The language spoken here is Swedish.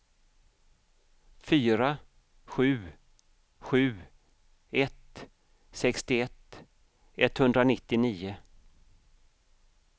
fyra sju sju ett sextioett etthundranittionio